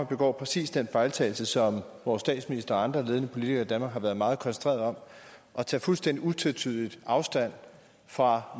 begår præcis den fejltagelse som vores statsminister og andre ledende politikere i danmark har været meget koncentrerede om at tage fuldstændig utvetydigt afstand fra